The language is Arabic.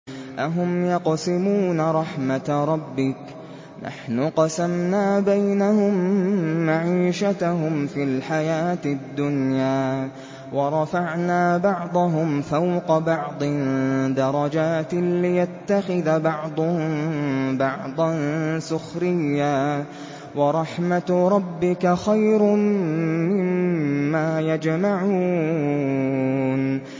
أَهُمْ يَقْسِمُونَ رَحْمَتَ رَبِّكَ ۚ نَحْنُ قَسَمْنَا بَيْنَهُم مَّعِيشَتَهُمْ فِي الْحَيَاةِ الدُّنْيَا ۚ وَرَفَعْنَا بَعْضَهُمْ فَوْقَ بَعْضٍ دَرَجَاتٍ لِّيَتَّخِذَ بَعْضُهُم بَعْضًا سُخْرِيًّا ۗ وَرَحْمَتُ رَبِّكَ خَيْرٌ مِّمَّا يَجْمَعُونَ